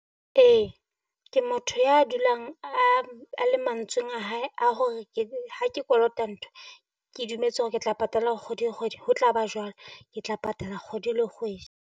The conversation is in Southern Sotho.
Ee ke motho ya dulang a, a le mantsweng a hae a hore ke ha ke kolota ntho, ke dumetse hore ke tla patala kgwedi le kgwedi, ho tla ba jwalo. Ke tla patala kgwedi le .